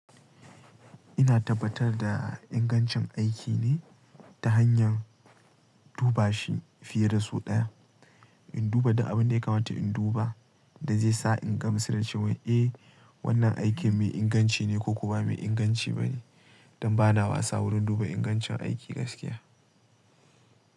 Ina tabbatar da ingancin aiki ne ta hanyar duba shi fiye da sau ɗaya. In duba duk abin da ya kamata in duba da zai sa in gamsu da cewar, eh wannan aikin mai inganci ne ko kuwa ba mai inganci ba ne don ba na wasa wurin duba ingancin aiki gaskiya.